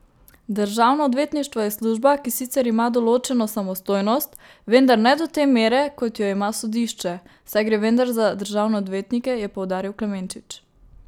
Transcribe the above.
Državno odvetništvo je služba, ki sicer ima določeno samostojnost, vendar ne do te mere, kot jo ima sodišče, saj gre vendar za državne odvetnike, je poudaril Klemenčič.